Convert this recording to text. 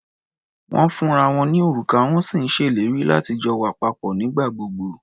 Wọ́n ń fúnra wọn ní òrùka, wọ́n sì ń ṣèlérí láti jọ wà papọ̀ nígbà gbogbo.